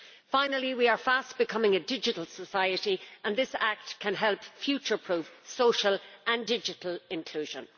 Finally, we are fast becoming a digital society and this act can help future proof social and digital inclusion.